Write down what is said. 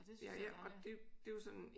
Og det synes jeg